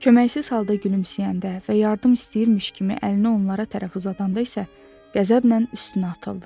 Köməksiz halda gülümsəyəndə və yardım istəyirmiş kimi əlini onlara tərəf uzadanda isə qəzəblə üstünə atıldılar.